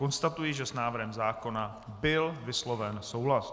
Konstatuji že s návrhem zákona byl vysloven souhlas.